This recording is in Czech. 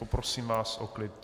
Poprosím vás o klid.